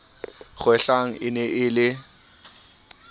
kgwehlang e ne e le